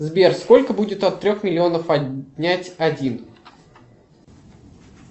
сбер сколько будет от трех миллионов отнять один